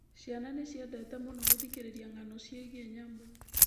Ciana nĩ ciendete mũno gũthikĩrĩria ng'ano ciĩgiĩ nyamũ.